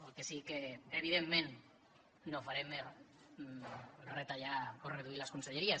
el que sí que evidentment no farem és retallar o reduir les conselleries